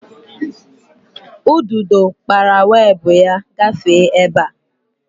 Ududo kpara weebụ ya gafee ebe a